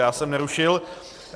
Já jsem nerušil.